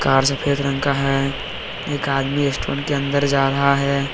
और सफेद रंग का है एक आदमी रेस्टोरेंट के अंदर जा रहा है।